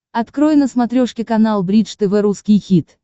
открой на смотрешке канал бридж тв русский хит